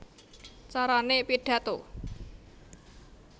Carané Pidhato